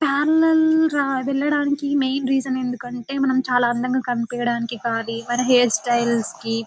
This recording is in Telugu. పార్లర్ కి వెళ్ళడానికి మెయిన్ రీసన్ ఎందుకు అంటే మనం చాలా అందం గ కనిపియ్యడానికి మన హెయిర్ స్టైల్ కి